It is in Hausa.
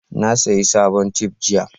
na saya sabon tef jiya